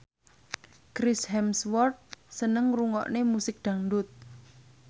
Chris Hemsworth seneng ngrungokne musik dangdut